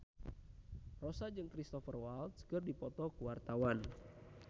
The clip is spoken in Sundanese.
Rossa jeung Cristhoper Waltz keur dipoto ku wartawan